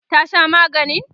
ta Sha maganin?